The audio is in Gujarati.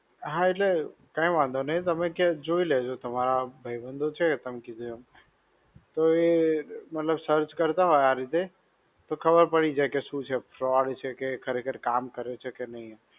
હા એટલે કઈ વાંધો નઈ. તમે જોઈ લેજો તમારા ભાઈબંધો છે તમે કીધું એમ તો એ મતલબ search કરતા હોય આ રીતે, તો ખબર પડી જાય કે શું છે? Fraud છે કે ખરેખર કામ કરે છે કે નઈ એમ.